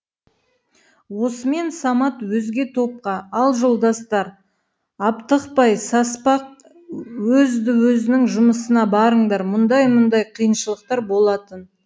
осымен самат өзге топқа ал жолдастар аптықпай саспақ өзді өзіңнің жұмысыңа барыңдар мұндай мұндай қиыншылықтар болатын